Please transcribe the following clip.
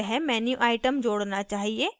वह menuitem जोड़ना चाहिए